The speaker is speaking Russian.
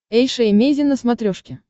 эйша эмейзин на смотрешке